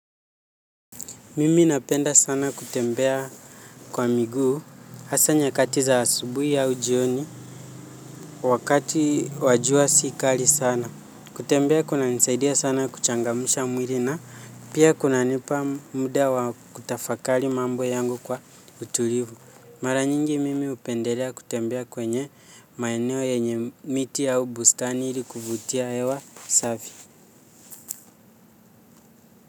Mimi napenda sana kutembea kwa miguu hasa nyakati za asubuhi au jioni wakati wa jua sikali sana. Kutembea kunanisaidia sana kuchangamsha mwili na pia kunanipa muda wa kutafakari mambo yangu kwa utulivu. Mara nyingi mimi hupendelea kutembea kwenye maeneo yenye miti au bustani ili kuvutia hewa safi.